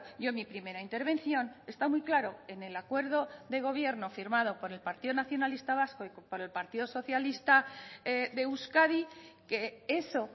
yo en mi primera intervención está muy claro en el acuerdo de gobierno firmado por el partido nacionalista vasco y por el partido socialista de euskadi que eso